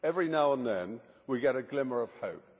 Every now and then we get a glimmer of hope.